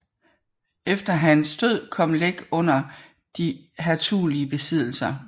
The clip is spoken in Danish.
Efter hans død kom Læk under de hertugelige besiddelser